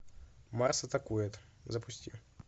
марс атакует запусти